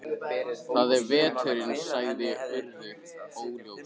Það er veturinn- sagði Urður óljóst.